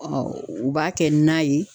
u b'a kɛ na ye